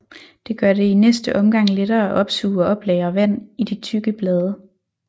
Det gør det i næste omgang lettere at opsuge og oplagre vand i de tykke blade